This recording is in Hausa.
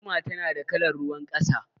Agwaluma tana da kalar ruwan ƙasa.